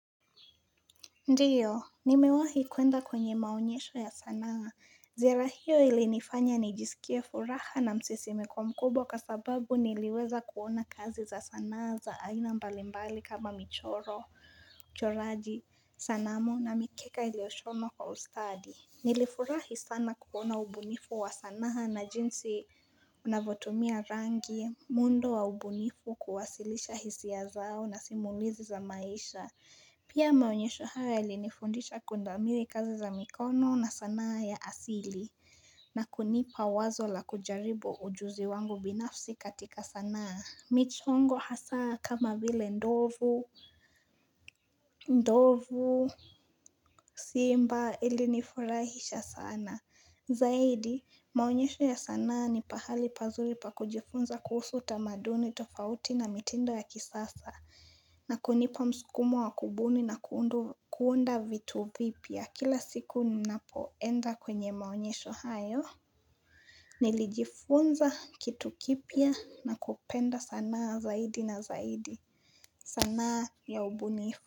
Ndiyo, nimewahi kuenda kwenye maonyesho ya sanaa. Ziara hiyo ili nifanya nijisikie furaha na msisi mikwo mkubwa kasababu niliweza kuona kazi za sanaa za aina mbalimbali kama michoro, choraji, sanamo na mikeka ilioshonwa kwa ustadi. Nilifurahi sana kukona ubunifu wa sanaa na jinsi unavotumia rangi mundo wa ubunifu kuwasilisha hisia zao na simulizi za maisha Pia maonyesho haya ilinifundisha kundamili kazi za mikono na sanaa ya asili na kunipa wazo la kujaribu ujuzi wangu binafsi katika sanaa Michongo hasaa kama vile ndovu simba ilinifurahisha sana Zaidi, maonyesho ya sanaa ni pahali pazuri pa kujifunza kuhusu tamaduni tofauti na mitindo ya kisasa na kunipa mskumu wa kubuni na kuunda vitu vipia kila siku ninapoenda kwenye maonyesho hayo Nilijifunza kitu kipia na kupenda sanaa zaidi na zaidi sanaa ya ubunifu.